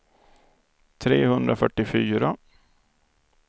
trehundrafyrtiofyra